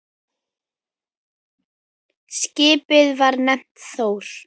Skipið var nefnt Þór.